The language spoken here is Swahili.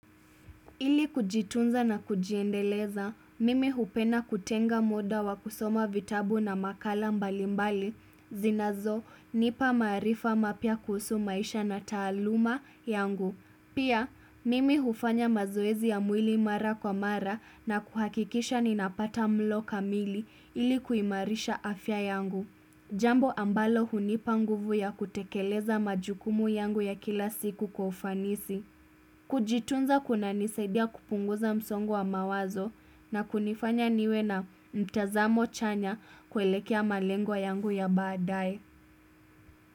Ili kujitunza na kujiendeleza, mimi hupenda kutenga muda wa kusoma vitabu na makala mbalimbali, zinazonipa marifa mapya kuhusu maisha na taaluma yangu. Pia, mimi hufanya mazoezi ya mwili mara kwa mara na kuhakikisha ninapata mlo kamili ili kuimarisha afya yangu. Jambo ambalo hunipa nguvu ya kutekeleza majukumu yangu ya kila siku kwa ufanisi. Kujitunza kunanisaidia kupunguza msongo wa mawazo na kunifanya niwe na mtazamo chanya kuelekea malengo yangu ya baadae.